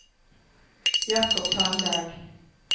Jakob Tandberg